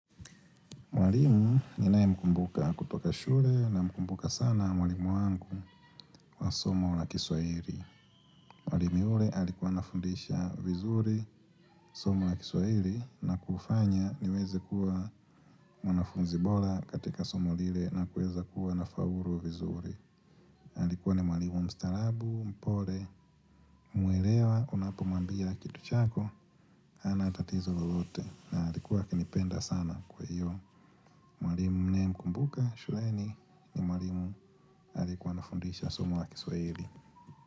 Mwalimu ninayemkumbuka kutoka shule namkumbuka sana mwalimu wangu wa somo la kiswahili. Mwalimu yule alikuwa anafundisha vizuri somo la kiswahili na kufanya niweze kuwa mwanafunzi bora katika somo lile na kuweza kuwa nafaulu vizuri. Alikuwa ni mwalimu mstaarabu, mpole, muelewa unapomwambia kitu chako, hana tatatizo lolote na alikuwa akinipenda sana kwa hiyo. Mwalimu ninayemkumbuka shuleni ni mwalimu aliyekuwa anafundisha somo la kiswahili.